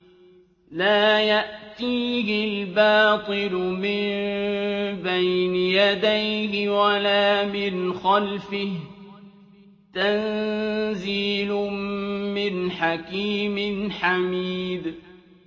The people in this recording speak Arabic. لَّا يَأْتِيهِ الْبَاطِلُ مِن بَيْنِ يَدَيْهِ وَلَا مِنْ خَلْفِهِ ۖ تَنزِيلٌ مِّنْ حَكِيمٍ حَمِيدٍ